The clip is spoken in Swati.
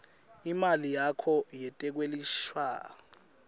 imali yakho yetekwelashwa